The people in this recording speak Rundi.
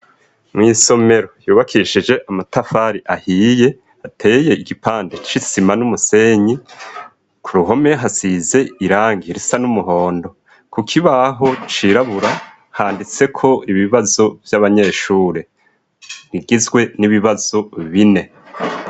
mw' isomero yubakishije amatafari ahiye ateye igipande c'isima n'umusenyi ku ruhome hasize irangi risa n'umuhondo ku kibaho cirabura handitseko ibibazo vy'abanyeshuri rigizwe n'ibibazo bine